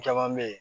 Caman be ye